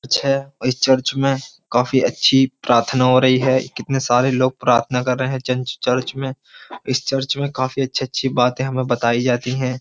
अच्छा है इस चर्च में काफी अच्छी प्रार्थना हो रही है कितने सारे लोग प्रार्थना कर रहे हैं चर्च में इस चर्च में काफी अच्छी अच्छी बातें हमें बताई जाती हैं।